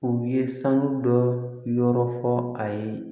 U ye sanu dɔ yɔrɔ fɔ a ye